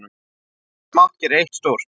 Margt smátt gerir eitt stórt.